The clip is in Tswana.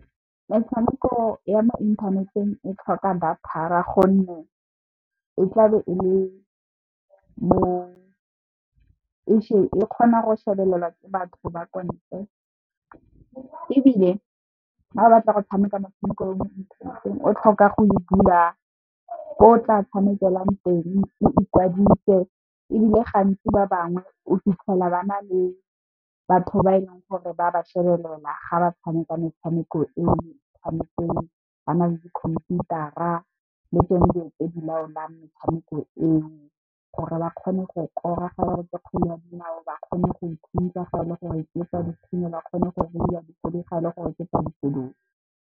Metshameko ya mo inthaneteng e tlhoka data gonne, e tlabe e kgona go shebelelwa ke batho ba kontle. Ebile, ga o batla go tshameka motshameko ya mo inthaneteng o tlhoka go e bula mo tla tshamekelang teng, o ikwadise ebile, gantsi ba bangwe o fitlhela ba na le batho ba e leng gore ba ba shebelela ga ba tshameka metshameko eo tshamekiwang, ba na le di khomputara le dilo tse di laolang metshameko eo gore ba kgone go kora ga e le gore ke kgwele ya dinao, ba kgone go thuntsa fa e le gore ke ya dithunya, ba kgone go reiya ga e le gore ke ya dikoloi.